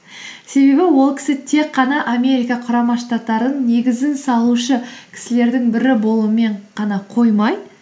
себебі ол кісі тек қана америка құрама штаттарын негізін салушы кісілердің бірі болумен ғана қоймай